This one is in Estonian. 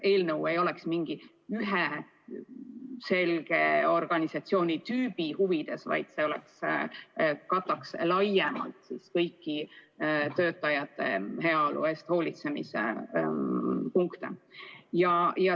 Siis ei oleks eelnõu üheainsa selge organisatsioonitüübi huvides, vaid kataks laiemalt kõiki töötajate heaolu eest hoolitsemise punkte.